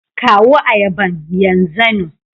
kawo ayaban yan zanu.